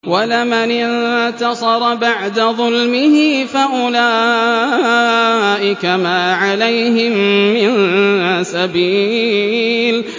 وَلَمَنِ انتَصَرَ بَعْدَ ظُلْمِهِ فَأُولَٰئِكَ مَا عَلَيْهِم مِّن سَبِيلٍ